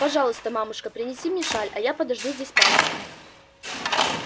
пожалуйста мамушка принеси мне шаль а я подожду здесь папу